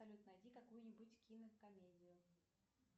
салют найди какую нибудь кинокомедию